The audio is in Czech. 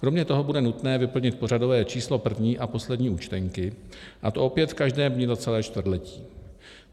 Kromě toho bude nutné vyplnit pořadové číslo první a poslední účtenky, a to opět v každém dni za celé čtvrtletí.